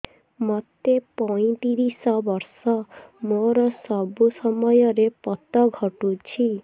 ମୋତେ ପଇଂତିରିଶ ବର୍ଷ ମୋର ସବୁ ସମୟରେ ପତ ଘଟୁଛି